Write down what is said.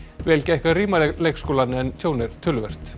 vel gekk að rýma leikskólann en tjón er töluvert